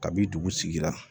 Kabi dugu sigi la